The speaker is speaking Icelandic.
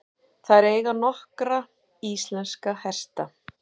Þær eiga nokkra íslenska hesta.